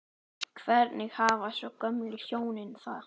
Hvernig hafa svo gömlu hjónin það?